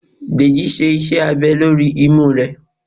Dejí sé iṣẹ abè lorí imú re